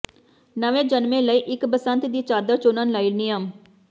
ਨਵੇਂ ਜਨਮੇ ਲਈ ਇੱਕ ਬਸੰਤ ਦੀ ਚਾਦਰ ਚੁਣਨ ਲਈ ਨਿਯਮ